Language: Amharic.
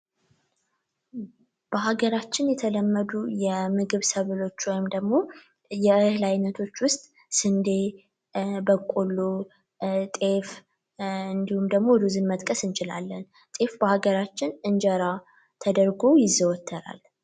በሀገራችን የተለመዱ የምግብ ሰብሎች ወይም ደግሞ እህል አይነቶች ውስጥ በቆሎ፣ ስንዴ ፣ጤፍ እንዲሁም ደግሞ ሩዝን መጥቀስ እንችላለን። ጤፍ በሀገራችን እንጀራ ተደርጎ ይዘወተራል።